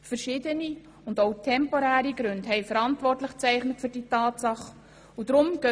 Verschiedene, auch temporäre Gründe zeichneten für diese Tatsache verantwortlich.